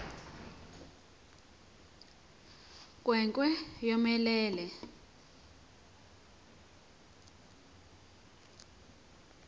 nkwe nkwe yomelele